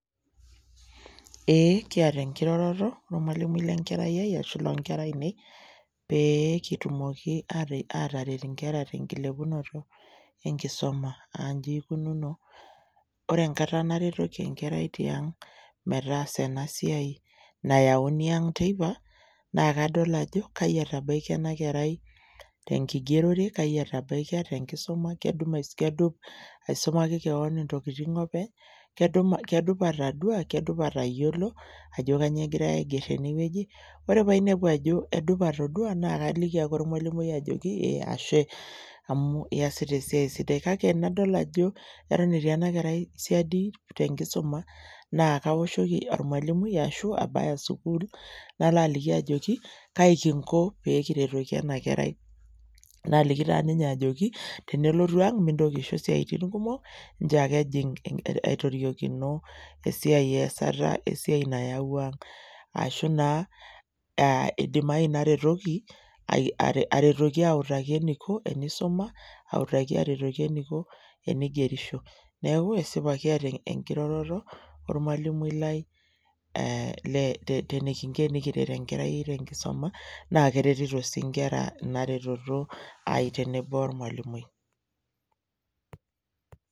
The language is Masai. Eh kiata enkiroroto ormwalimui le enkerai ai ashu ormwalimui loonkera aine peyie kitumoki aataret inkera te enkilepunoto enkisuma . Aa inji eikununo , ore enkata naretoki enkerai tiang metaasa ena siai nayauni ang teipa naa kadol ajo kaji etabaikia ena kerai te nkingerore , kai etabaikia te enkisuma, kedup aisumaki kewon intokitin openy, kedup atadua, kedup atayiolo ajo kainyioo egirae aiger tene wueji . Ore padol ajo edup atoduaa naa kaliki ake ormwalimui ajoki ashe amu iyasita esiai sidai . Kake tenadol ajo eton etii ena kerai siadi te enkisuma naa kaoshoki ormwalimui ashu abaya sukuul nala aliki ajoki kaa kinko pee kiretoki ena kerai . Naliki taa ninye ajoki tenelotu ang mintoki aisho isiatin kumok nchoo ake ejing aitoriokino esiai easata esiai nayawua ang. Ashu naa idimayu naretoki, aretoki autaki eniko tenisuma , autaki eniko tenigerisho . Niaku esipa kiata enkiroroto ormwalimui lai ee enikinko tenikiret enkerai te enkisuma naa keretito sii inkera ina reteto ai tenebo ormwalimui.